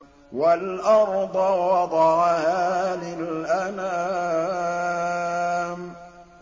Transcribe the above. وَالْأَرْضَ وَضَعَهَا لِلْأَنَامِ